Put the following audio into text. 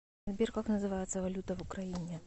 сбер как называется валюта в украине